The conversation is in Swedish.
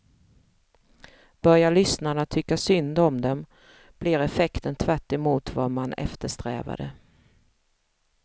Börjar lyssnarna tycka synd om dem blir effekten tvärtemot vad man eftersträvade.